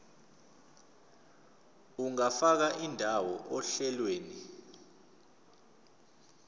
ungafaka indawo ohlelweni